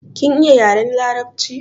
Kin iya yaren larabci?